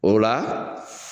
O la